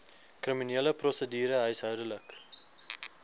kriminele prosedure huishoudelike